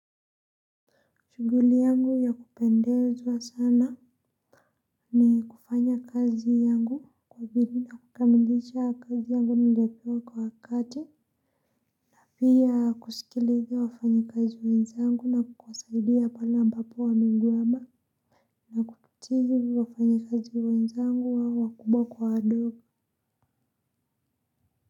Shughuli yangu ya kupendezwa sana ni kufanya kazi yangu, kwa bidii na kukamilisha kazi yangu niliopewa kwa wakati. Pia kusikiliza wafanyikazi wenzangu na kuwasaidia pale ambapo wamegwama na kukutiju wafanyikazi wenzangu wa wakubwa kwa wadogo.